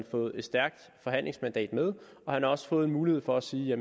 fået et stærkt forhandlingsmandat med og han har også fået en mulighed for at sige